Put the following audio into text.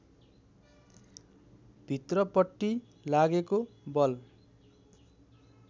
भित्रपट्टि लागेको बल